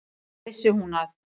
Þá vissi hún að